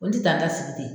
O tɛ taa da sigi ten